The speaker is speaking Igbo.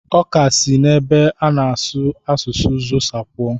Ọ ka si n'ebe a na-azụ asụsụ Xhosa puo.